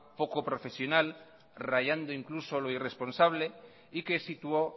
poco profesional rayando incluso lo irresponsable y que situó